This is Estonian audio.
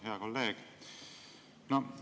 Hea kolleeg!